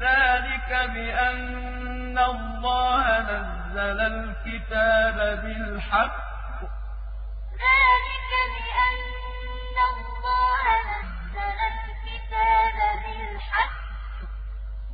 ذَٰلِكَ بِأَنَّ اللَّهَ نَزَّلَ الْكِتَابَ بِالْحَقِّ ۗ